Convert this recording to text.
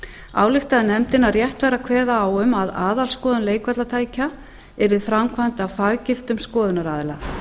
ályktaði nefndin að rétt væri að kveða á um að aðalskoðun leikvallatækja yrði framkvæmd af faggiltum skoðunaraðila